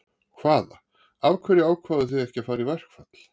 Hvaða, af hverju ákváðuð þið að fara í verkfall?